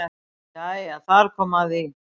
Jæja þar kom að því.